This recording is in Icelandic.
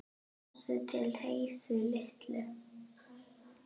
Farðu til Heiðu litlu.